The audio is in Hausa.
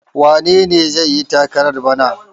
Wane ne zai yi takarar bana?